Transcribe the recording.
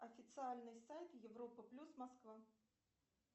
официальный сайт европа плюс москва